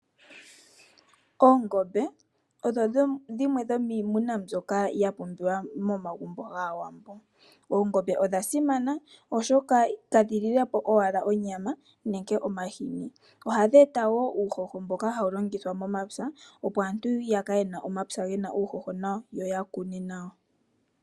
Oongombe odho dhimwe dhomiimuna mbyoka ya pumbiwa momagumbo gAawambo. Oongombe odha simana oshoka kadhililepo owala onyama nenge omahini. Ohadhi eta wo uuhoho mboka hawu longithwa momapya, opo aantu yakale yena omapya gena uuhoho nawa, yo yawape okukuna.